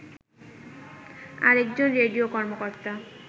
আরেকজন রেডিও কর্মকর্তা